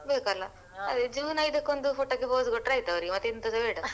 ಬೇಕಲ್ಲ ಅದೇ June ಐದಕ್ಕೆ ಒಂದು photo ಗೆ pose ಕೊಟ್ರೆ ಆಯ್ತು ಅವ್ರಿಗೆ ಮತ್ತೆ ಎಂತಸ ಬೇಡ.